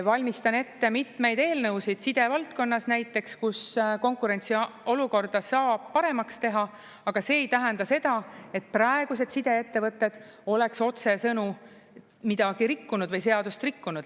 Valmistan ette mitmeid eelnõusid, side valdkonnas näiteks, kus konkurentsiolukorda saab paremaks teha, aga see ei tähenda seda, et praegused sideettevõtted oleks otsesõnu midagi rikkunud või seadust rikkunud.